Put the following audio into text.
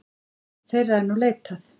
Þeirra er nú leitað.